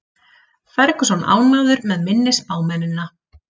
Ferguson ánægður með minni spámennina